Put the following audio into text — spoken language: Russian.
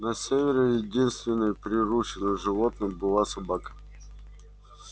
на севере единственным приручённым животным была собака